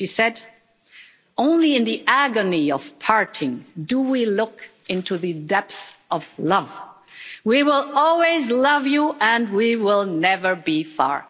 She said only in the agony of parting do we look into the depth of love. We will always love you, and we will never be far.